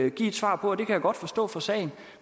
et svar på og det kan jeg godt forstå for sagen